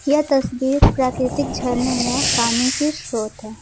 यह तस्वीर प्राकृतिक झरने या पानी के स्रोत है।